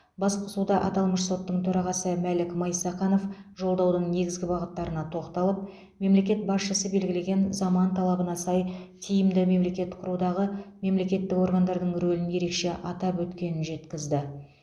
басқосуда аталмыш соттың төрағасы мәлік майсақанов жолдаудың негізгі бағыттарына тоқталып мемлекет басшысы белгілеген заман талабына сай тиімді мемлекет құрудағы мемлекеттік органдардың рөлін ерекше атап өткенін жеткізді